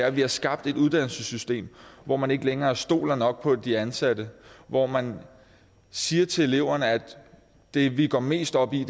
at vi har skabt et uddannelsessystem hvor man ikke længere stoler nok på de ansatte hvor man siger til eleverne at det vi går mest op i